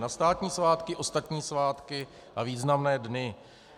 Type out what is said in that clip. Na státní svátky, ostatní svátky a významné dny.